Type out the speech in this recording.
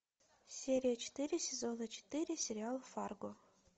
серия четыре сезона четыре сериал фарго